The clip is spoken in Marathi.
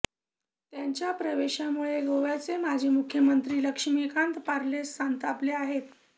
त्यांच्या प्रवेशामुळे गोव्याचे माजी मुख्यमंत्री लक्ष्मीकांत पार्सेकर संतापले आहेत